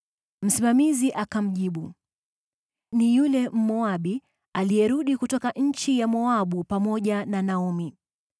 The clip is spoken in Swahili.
Msimamizi akamjibu, “Ni yule Mmoabu aliyerudi kutoka nchi ya Moabu pamoja na Naomi.